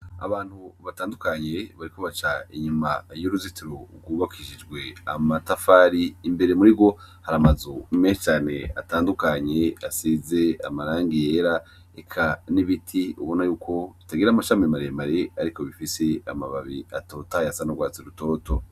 Abantu batandukanye bariko baca inyuma y'uruzitiro rwubakishijwe amatafari, imbere muri rwo hari amazu menshi cane atandukanye, asize amarangi yera. Eka n'ibiti ubona y'uko bitagira amashami maremare, ariko bifise amababi atotahaye asa n'urwatsi rutoto.